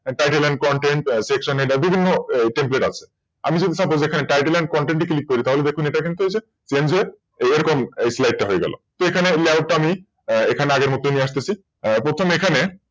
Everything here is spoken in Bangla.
TittleAndContentSection এ বিভিন্ন Template আসে । আমি যদি সেখানে Tittle এবং Content এ Click করি তাহলে সেখানে Changer এরকম হয়ে গেল তো এখানে Layout আমি আগের মতই নিয়ে অসতেছি, প্রথম এখানে